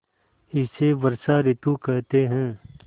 इसे वर्षा ॠतु कहते हैं